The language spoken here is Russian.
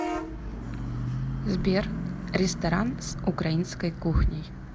сбер ресторан с украинской кухней